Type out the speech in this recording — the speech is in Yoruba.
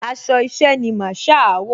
Aṣọ iṣẹ́ ni Masaa wọ̀